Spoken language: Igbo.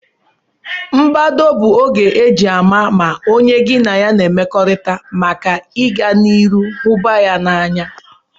mbedo bu oge eji ama ma onye gi na ya n'emekorita maka iga na iru hubaya n'anya